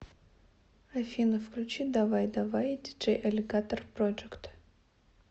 афина включи давай давай диджей алигатор проджект